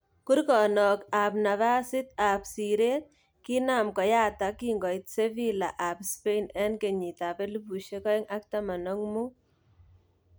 Kurgonok ab nafasit ak siret kinam koyatak kingoit Sevilla ab Spain 2015.